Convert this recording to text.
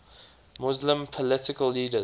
muslim political leaders